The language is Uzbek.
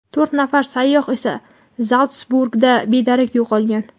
To‘rt nafar sayyoh esa Zaltsburgda bedarak yo‘qolgan.